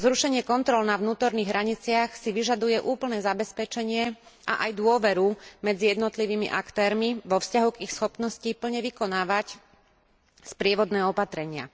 Zrušenie kontrol na vnútorných hraniciach si vyžaduje úplné zabezpečenie a aj dôveru medzi jednotlivými aktérmi vo vzťahu k ich schopnosti plne vykonávať sprievodné opatrenia.